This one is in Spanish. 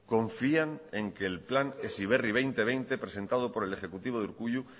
confían en que el plan heziberri dos mil veinte presentado por el ejecutivo de urkullu